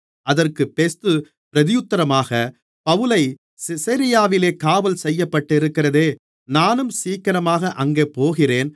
அதற்கு பெஸ்து பிரதியுத்தரமாக பவுலை செசரியாவிலே காவல் செய்யப்பட்டிருக்கிறதே நானும் சீக்கிரமாக அங்கே போகிறேன்